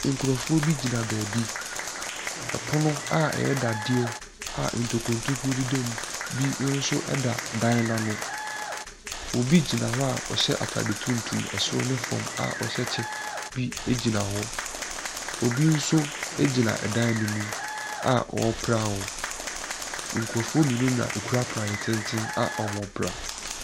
Nkurɔfoɔ bi gyina beebi, pono a ɛyɛ dadeɛ a notkuro ntokuro deda mu bi nso da dan n’ano, obi gyina hɔ a ɔhyɛ ataade tuntum soro ne fam a ɔhyɛ kyɛ nso bi gyina hɔ, obi nso gyina dan ne mu a ɔrepra hɔ. Nkurɔfoɔ mmienu na ɛkura prayɛ tenten a wɔrepra.